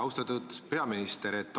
Austatud peaminister!